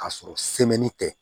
K'a sɔrɔ tɛ